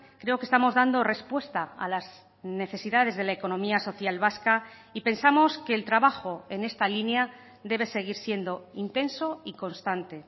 creo que estamos dando respuesta a las necesidades de la economía social vasca y pensamos que el trabajo en esta línea debe seguir siendo intenso y constante